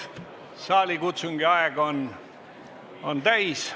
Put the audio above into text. Saalikutsungi aeg on täis.